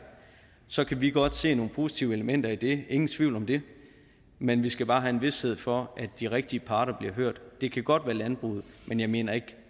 så kan vi godt se nogle positive elementer i det ingen tvivl om det men vi skal også bare have vished for at de rigtige parter bliver hørt det kan godt være landbruget men jeg mener ikke